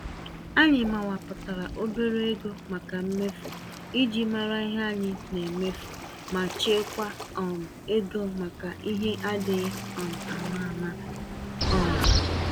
Anyị mawapụtara obere ego màkà mmefu, iji mara ihe anyị nemefu, ma chekwaa um égo maka ihe adịghị um àmà-àmà. um